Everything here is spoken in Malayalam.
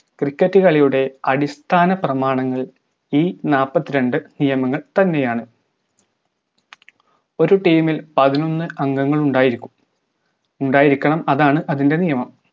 cricket കളിയുടെ അടിസ്ഥാന പ്രമാണങ്ങൾ ഈ നാല്പത്തിരണ്ട്‍ നിയമങ്ങൾ തന്നെയാണ് ഒരു team ഇൽ പതിനൊന്ന് അംഗങ്ങൾ ഉണ്ടായിരിക്കും ഉണ്ടായിരിക്കണം അതാണ് അതിന്റെ നിയമം